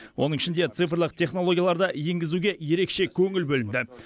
оның ішінде цифрлық технологияларды енгізуге ерекше көңіл бөлінді